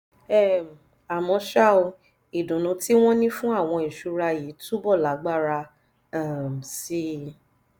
um àmọ́ ṣá o ìdùnnú tí wọ́n ní fún àwọn ìṣúra yìí yóò túbọ̀ lágbára um sí i